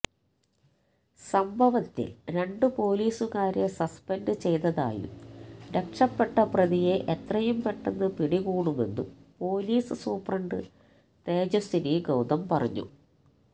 സംഭവത്തില് രണ്ട് പോലീസുകാരെ സസ്പെന്ഡ് ചെയ്തതായും രക്ഷപ്പെട്ട പ്രതിയെ എത്രയും പെട്ടെന്ന് പിടികൂടുമെന്നും പോലീസ് സൂപ്രണ്ട് തേജസ്വിനി ഗൌതം പറഞ്ഞു